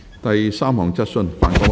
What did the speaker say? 第三項質詢。